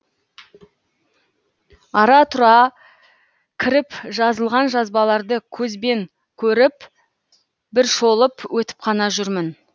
ара тұра кіріп жазылған жазбаларды көзбен көріп бір шолып өтіп қана жүрмін